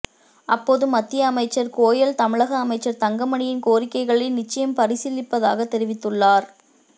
அப்போது மத்திய அமைச்சர் கோயல் தமிழக அமைச்சர் தங்கமணியின் கோரிக்கைகளை நிச்சயம் பரிசீலிப்பதாக தெரிவித்துள்ளார்